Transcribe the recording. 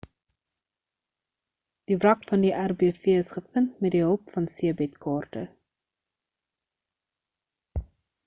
die wrak van die rbv is gevind met die hulp van see-bed kaarte